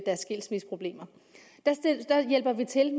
skilsmisseproblemer der hjælper vi til